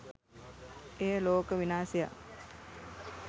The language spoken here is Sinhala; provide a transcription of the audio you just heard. එය ලෝක විනාශයක්